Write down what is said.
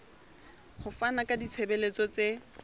ho fana ka ditshebeletso tse